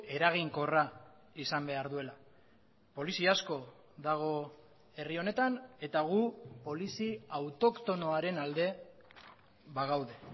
eraginkorra izan behar duela polizia asko dago herri honetan eta gu polizi autoktonoaren alde bagaude